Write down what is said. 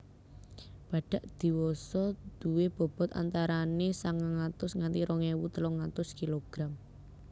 Badhak diwasa duwé bobot antarané sangang atus nganti rong ewu telung atus kilogram